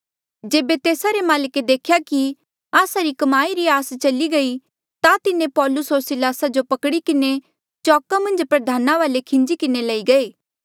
जेबे तेस्सा रे माल्के देख्या कि आस्सा री कमाई री आस चली गई ता तिन्हें पौलुस होर सिलासा जो पकड़ी किन्हें चौका मन्झ प्रधाना वाले खींजी किन्हें लई गये